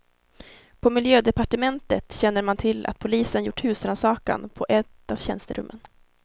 På miljödepartementet känner man till att polisen gjort husrannsakan på ett av tjänsterummen.